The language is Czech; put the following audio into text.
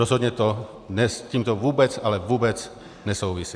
Rozhodně to s tímto vůbec, ale vůbec nesouvisí.